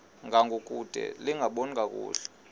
ngangokude lingaboni kakuhle